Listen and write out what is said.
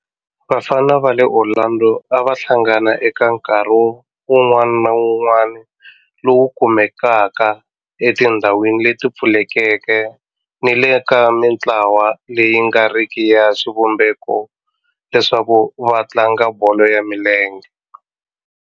Vafana va le Orlando a va hlangana eka nkarhi wun'wana ni wun'wana lowu kumekaka etindhawini leti pfulekeke ni le ka mintlawa leyi nga riki ya xivumbeko leswaku va tlanga bolo ya milenge.